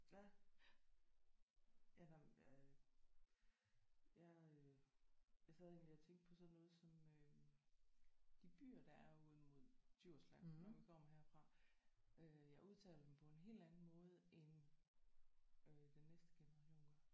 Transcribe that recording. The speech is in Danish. Ja. Ja der øh jeg øh jeg sad egentlig og tænkte på sådan noget som øh de byer der er ud imod Djursland når man kommer herfra øh jeg udtaler dem på en helt anden måde end øh den næste generation gør